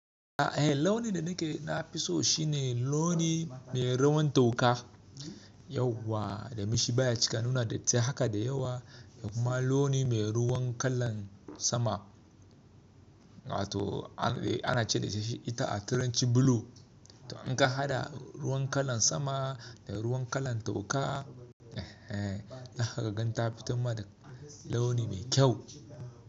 E, launi da ni ke na fi so shi ne launi mai ruwan toka. Yauwa da mashi baya cika nuna datti haka da yawa. Amma launi mai ruwan kalan sama. Wato ana ce da shi ita a turanci blue. To in ka hada ruwan kalan sama da ruwan kalan toka, eh, eh, zan kagan ta fitan ma da launi mai kyau.